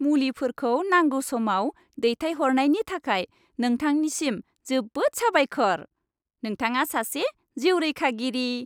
मुलिफोरखौ नांगौ समाव दैथायहरनायनि थाखाय नोंथांनिसिम जोबोद साबायखर! नोंथाङा सासे जिउ रैखागिरि।